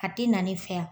A tɛ na ne fɛ yan